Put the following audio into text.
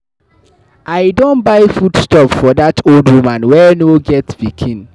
I don buy food stuff for dat old woman wey no get pikin.